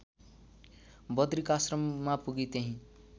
बद्रिकाश्रममा पुगी त्यहिँ